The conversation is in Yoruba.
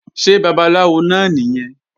Ṣé babaláwo náà nìyẹn?